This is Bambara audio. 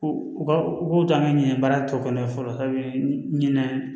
U b'u to an ka ɲinɛ baara tɔ kɔnɔ fɔlɔ ɲinan